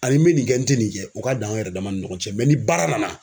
Ani min bɛ nin kɛ n tɛ nin kɛ o ka dan an yɛrɛ dama ni ɲɔgɔn cɛ ni baara nana